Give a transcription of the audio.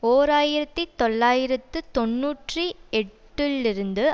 ஓர் ஆயிரத்தி தொள்ளாயிரத்து தொன்னூற்றி எட்டுலிருந்து